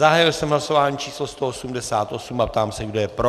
Zahájil jsem hlasování číslo 188 a ptám se, kdo je pro.